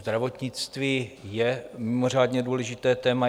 Zdravotnictví je mimořádně důležité téma.